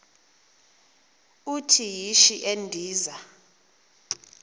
uthi yishi endiza